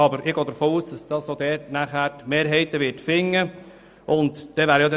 Ich gehe aber auch davon aus, dass diese Massnahme auch dort eine Mehrheit finden wird.